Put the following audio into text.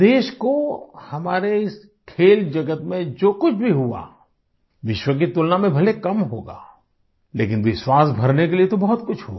देश को हमारे इस खेल जगत में जो कुछ भी हुआ विश्व की तुलना में भले कम होगा लेकिन विश्वास भरने के लिए तो बहुत कुछ हुआ